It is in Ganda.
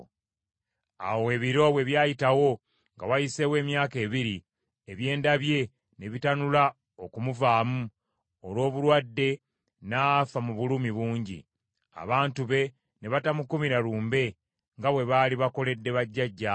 Awo ebiro bwe byayitawo, nga wayiseewo emyaka ebiri, ebyenda bye ne bitanula okumuvaamu, olw’obulwadde, n’afa mu bulumi bungi. Abantu be ne batamukumira lumbe, nga bwe baali bakoledde bajjajjaabe.